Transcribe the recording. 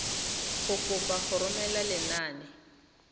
go kopa go romela lenane